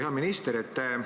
Hea minister!